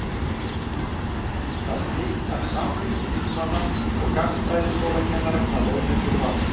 Þar slitnar samfylgd þingmanna og gagnfræðaskólakennara hvað launakjör varðar.